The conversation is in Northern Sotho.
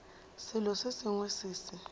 selo se sengwe se se